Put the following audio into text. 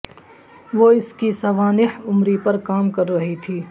وہ اس کی سوانح عمری پر کام کر رہی تھی